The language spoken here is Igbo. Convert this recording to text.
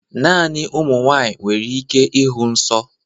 Naanị ụmụ nwanyị nwere ike ịhụ nsọ